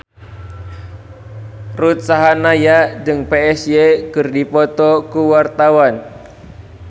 Ruth Sahanaya jeung Psy keur dipoto ku wartawan